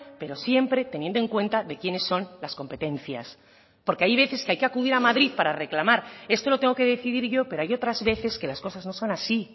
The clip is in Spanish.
pero siempre teniendo en cuenta de quienes son las competencias porque hay veces que hay que acudir a madrid para reclamar esto lo tengo que decidir yo pero hay otras veces que las cosas no son así